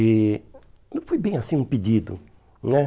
E não foi bem assim um pedido, né?